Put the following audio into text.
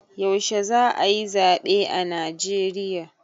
yaushe za a yi zabe a Najeriya?